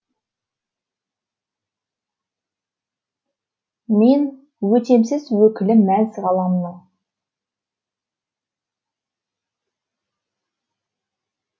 мен өтемсіз өкілі мәз ғаламның